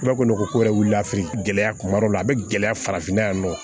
I b'a kolon ko yɛrɛ wulila gɛlɛya kuma dɔ la a be gɛlɛya farafinna yan nɔ